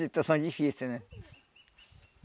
situação difícil, né?